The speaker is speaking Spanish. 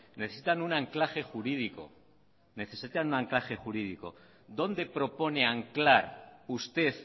necesitan un anclaje jurídico dónde propone anclar usted